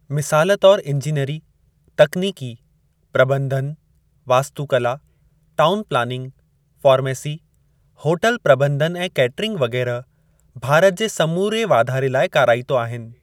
मिसाल तौरु इंजिनेरी, तकनीकी, प्रॿंधन, वास्तुकला, टाउन प्लानिंग, फार्मेसी, होटल प्रॿंधन ऐं कैटरिंग वग़ैरह भारत जे समूरे वाधारे लाइ काराइतो आहिनि।